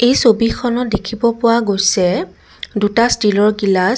এই ছবিখনত দেখিব পোৱা গৈছে দুটা ষ্টীলৰ গিলাচ।